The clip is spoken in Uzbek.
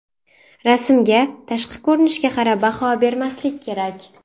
Rasmga, tashqi ko‘rinishga qarab baho bermaslik kerak.